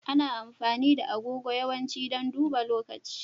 Ana amfani da agogo yawanci don duba lokaci.